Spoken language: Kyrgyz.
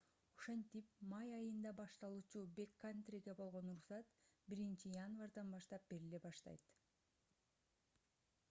ошентип май айында башталуучу бэккантриге болгон уруксат 1-январдан баштап бериле баштайт